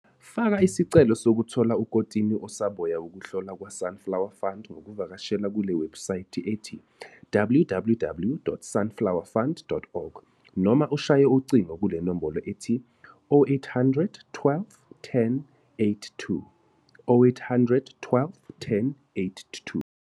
Faka isicelo sokuthola ukotini osaboya wokuhlola kwaSunflower Fund ngokuvakashela kule webhusayithi ethi- www.sunflowerfund.org noma ushaye ucingo kule nombolo ethi- 0800 12 10 82.